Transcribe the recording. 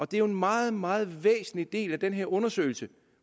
det er jo en meget meget væsentlig del af den her undersøgelse